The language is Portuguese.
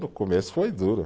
No começo foi duro.